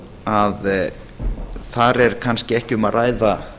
að þar er kannski ekki um að ræða